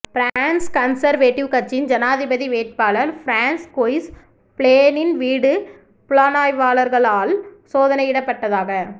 France conservative கட்சியின் ஜனாதிபதி வேட்பாளர் ஃபிரான்ஸ்கொய்ஸ் ஃபிலோனின் வீடு புலனாய்வாளர்களால் சோதனையிடப்பட்டதாக